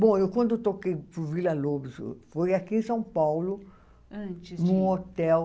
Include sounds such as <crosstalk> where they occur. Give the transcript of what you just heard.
Bom, quando eu toquei <unintelligible> Villa-Lobos, foi aqui em São Paulo, num hotel.